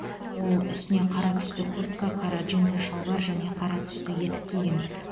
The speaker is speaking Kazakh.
ол үстіне қара түсті куртка қара джинсы шалбар және қара түсті етік киген